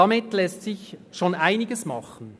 Damit lässt sich schon einiges machen.